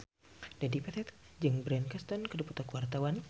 Dedi Petet jeung Bryan Cranston keur dipoto ku wartawan